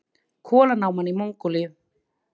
Kolanáma í Mongólíu.